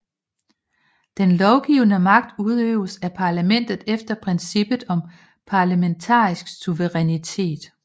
Den lovgivende magt udøves af parlamentet efter princippet om parlamentarisk suverænitet